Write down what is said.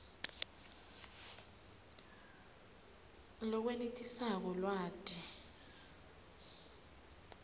lokwenetisako lwati